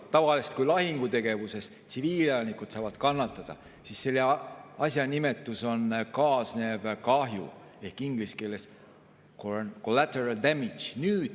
Tavaliselt, kui lahingutegevuses saavad tsiviilelanikud kannatada, siis selle asja nimetus on kaasnev kahju ehk inglise keeles collateral damage.